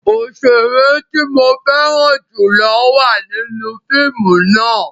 Oṣere ti mo fẹran julo wa ninu fiimu náa